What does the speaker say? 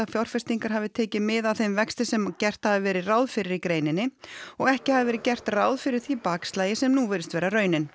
fjárfestingar hafi tekið mið af þeim vexti sem gert hafi verið ráð fyrir í greininni og ekki hafi verið gert ráð fyrir því bakslagi sem nú virðist vera raunin